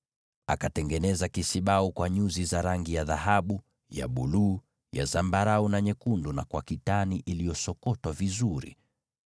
Akatengeneza kisibau cha dhahabu, na nyuzi za rangi ya buluu, za zambarau, na nyekundu na kitani iliyosokotwa vizuri.